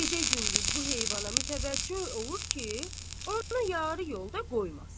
Gecə-gündüz bu heyvana mütəvəccəh olur ki, onu yarı yolda qoymasın.